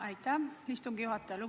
Aitäh, istungi juhataja!